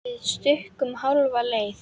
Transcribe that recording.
Við stukkum hálfa leið.